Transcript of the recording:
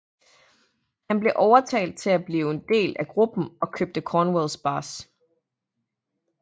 Han blev overtalt til at blive en del af gruppen og købte Cornwells bas